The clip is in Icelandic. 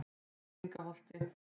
Villingaholti